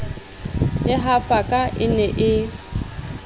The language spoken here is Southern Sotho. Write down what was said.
e hafaka e ne e